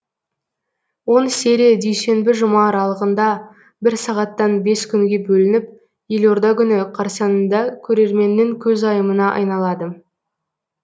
он серия дүйсенбі жұма аралығында бір сағаттан бес күнге бөлініп елорда күні қарсаңында көрерменнің көзайымына айналады